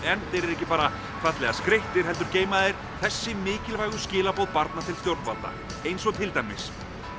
ekki bara fallega skreyttir heldur geyma þeir þessi mikilvægu skilaboð barna til stjórnvalda eins og til dæmis